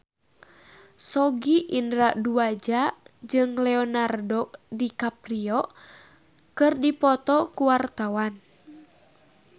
Sogi Indra Duaja jeung Leonardo DiCaprio keur dipoto ku wartawan